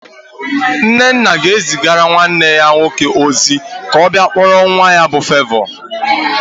Nnenna ga-ezigara nwanne ya nwoke ozi ka ọ bịa kpọrọ nwa ya bụ Fevọ